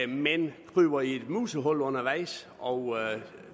men kryber i et musehul undervejs og